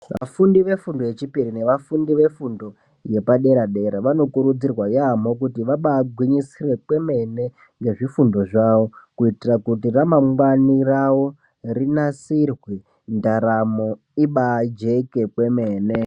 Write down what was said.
Afundi efundo yechipiri ne afundi yefundo yepadera dera vanokuridzirwe kuti vambai gwinyisira ngezvifundo zvavo kuitira kuti ramangwani ravo rinasirwe ndaramo imbai jeke kwemene.